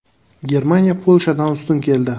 Germaniya Polshadan ustun keldi.